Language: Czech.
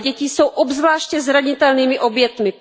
Ale děti jsou obzvláště zranitelnými obětmi.